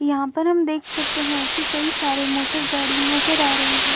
यहाँ पर हम देख सकते है कि कई सारे मोटर गाड़ी नजर आ रही है।